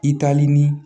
I taalen ni